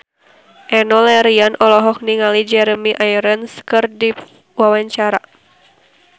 Enno Lerian olohok ningali Jeremy Irons keur diwawancara